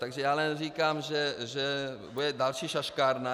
Takže já jenom říkám, že to bude další šaškárna.